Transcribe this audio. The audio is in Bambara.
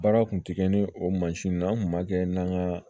Baara kun ti kɛ ni o mansin na n kun b'a kɛ n nan ka